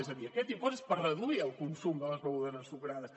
és a dir aquest impost és per reduir el consum de les begudes ensucrades